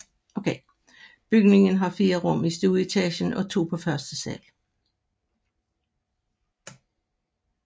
Bygningen har fire rum i stueetagen og to på første sal